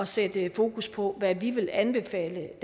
sætte fokus på hvad vi vil anbefale